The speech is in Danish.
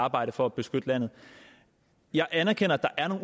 arbejde for at beskytte landet jeg anerkender at der er